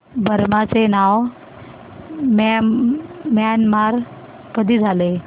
Burma चे नाव Myanmar कधी झाले